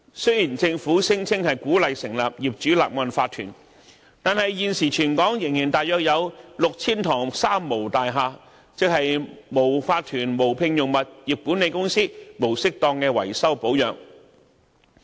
雖然政府聲稱鼓勵成立法團，但現時全港仍大約有 6,000 幢"三無"大廈，即是無法團、無聘用物業管理公司及無適當維修保養。